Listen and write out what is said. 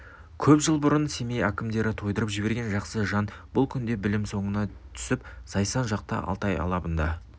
көп жыл бұрын семей әкімдері тайдырып жіберген жақсы жан бұл күнде білім соңына түсіп зайсан жақта алтай алабында